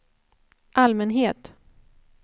allmänhet